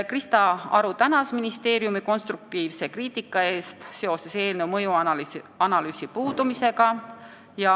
Krista Aru tänas ministeeriumi konstruktiivse kriitika eest seoses eelnõu mõjuanalüüsi puudumisega.